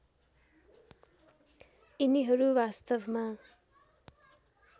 यिनीहरू वास्तवमा